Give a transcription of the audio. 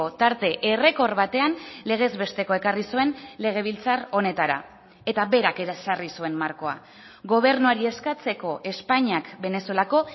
tarte errekor batean legez bestekoa ekarri zuen legebiltzar honetara eta berak ere ezarri zuen markoa gobernuari eskatzeko espainiak venezuelako